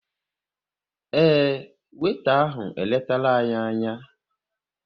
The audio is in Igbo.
Ee, weeta ahụ eletara anyị anya